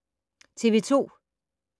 TV 2